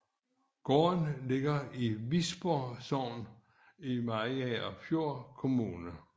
Gården ligger i Visborg Sogn i Mariagerfjord Kommune